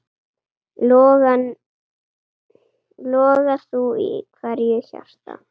Loga þú í hverju hjarta.